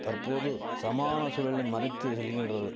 தற்போது சமான சூழலை மறைத்து செல்கின்றது